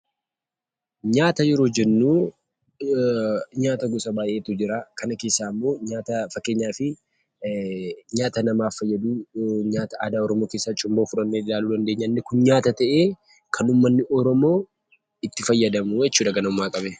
Nyaata yeroo jennu nyaata gosa baayeetu jira, kana keessaa immoo nyaata fakkeenyaaf nyaata namaaf fayyadu, nyaata aadaa Oromoo keessaa Cuumboo fudhannee ilaaluu dandeenya inni kun nyaata tahee Kan ummatni oromoo itti fayyadamu jechuudha ganamumaa qabee.